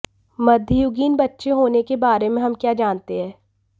मध्ययुगीन बच्चे होने के बारे में हम क्या जानते हैं